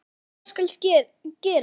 Svo hvað skal gera?